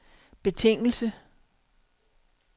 betingelse